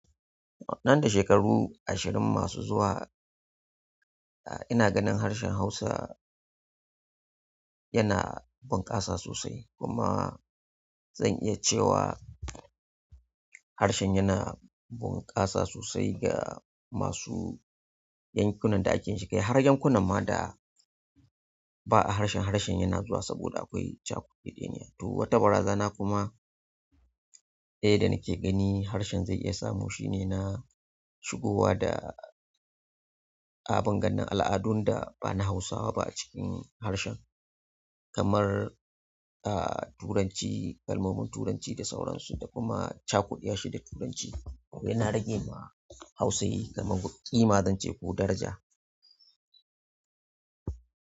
Nan da shekaru ashirin masu zuwa, ina ganin harshen Hausa yana bunƙasa sosai kuma zan iya cewa harshen yana bunƙasa sosai ga masu yankunan da ake shiga. Har yankunan ma da ba a harshen, harshen yana zuwa saboda akwai cakeɗeɗeniya. To, wata barazana kuma, eh, da nake gani harshen zai iya samu shine na shigowa da abin gane al'adun da ba na Hausawa ba a cikin harshen kamar, ah, Turanci, kalmomin Turanci da sauransu da kuma cakuɗa su da Turanci. Yana rage ma Hausa kamar ƙima, zance ko daraja.